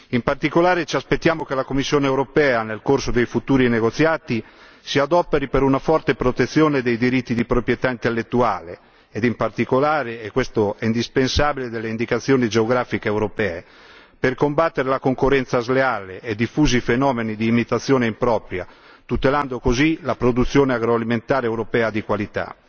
In particolare, ci aspettiamo che la Commissione europea nel corso dei futuri negoziati si adoperi per una forte protezione dei diritti di proprietà intellettuale ed in particolare e questo è indispensabile delle indicazioni geografiche europee, per combattere la concorrenza sleale e i diffusi fenomeni di imitazione impropria, tutelando così la produzione agroalimentare europea di qualità.